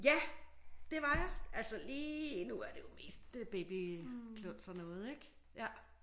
Ja det var jeg altså lige nu er det jo mest baby kluns og noget ik? Ja